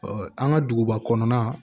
an ka duguba kɔnɔna